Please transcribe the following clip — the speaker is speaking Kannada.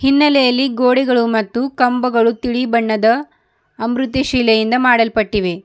ಹಿನ್ನಲೆಯಲ್ಲಿ ಗೋಡೆಗಳು ಮತ್ತು ಕಂಬಗಳು ತಿಳಿ ಬಣ್ಣದ ಅಂಭೃತಿ ಶಿಲೆಯಿಂದ ಮಾಡಲ್ಪಟ್ಟಿವೆ.